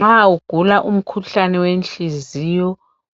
Nxa ugula umkhuhlane wenhliziyo